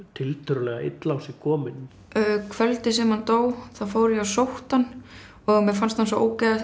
tiltölulega illa á sig kominn kvöldið sem hann dó þá fór ég og sótti hann og mér fannst hann svo